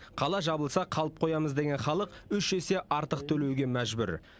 қала жабылса қалып қоямыз деген халық үш есе артық төлеуге мәжбүр